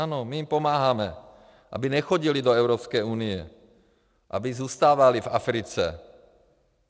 Ano, my jim pomáháme, aby nechodili do Evropské unie, aby zůstávali v Africe.